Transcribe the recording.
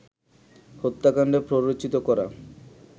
হত্যাকাণ্ডে প্ররোচিত করা